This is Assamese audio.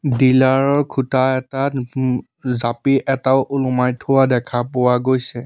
ডিলাৰ ৰ খুঁটা এটাত উম জাপি এটাও ওলোমাই থৈ দিয়া দেখা পোৱা গৈছে।